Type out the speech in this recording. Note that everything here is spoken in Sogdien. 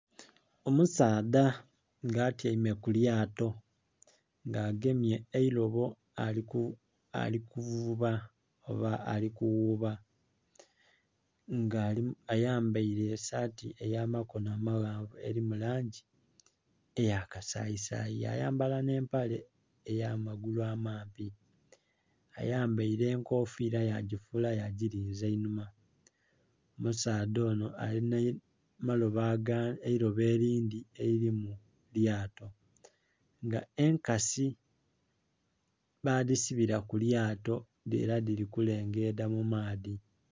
Omusaadha nga atyaime ku lyato nga agemye eilobo ali kuvuba oba ali kuwuba nga ayambaile saati eya makono amaghanvu eli mu langi eya kasayisayi, ya yambala nh'empale ey'amagulu amampi. Ayambaile enkofiila yagifuula yagilinza einhuma. Omusaadha onho alinha eilobo elindhi elili mu lyato, nga enkasi badhisibila ku lyato nga ela dhili kulengeedha mu maadhi.